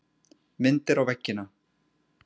Myndir á veggina.